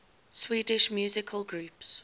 swedish musical groups